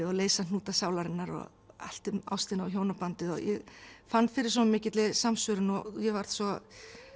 og leysa hnúta sálarinnar allt um ástina og hjónabandið ég fann fyrir svo mikilli samsvörun og varð svo